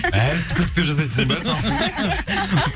әлі түкіріптеп жасайсың ба